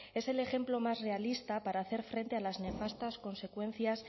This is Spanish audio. es el ejemplo más realista para hacer frente a las nefastas consecuencias